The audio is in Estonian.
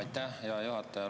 Aitäh, hea juhataja!